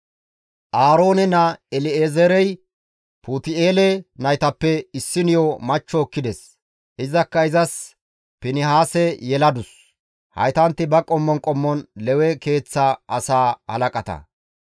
Aaroone naa El7ezeerey Puti7eele naytappe issiniyo machcho ekkides; izakka izas Finihaase yeladus. Haytanti ba qommon qommon Lewe keeththa asaa halaqata.